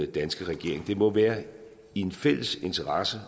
danske regering det må være i en fælles interesse